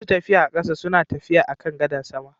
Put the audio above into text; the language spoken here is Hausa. Masu tafiya a ƙasa suna Tafiya akan gadar sama